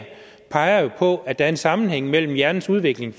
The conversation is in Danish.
peger jo på at der er en sammenhæng mellem hjernens udvikling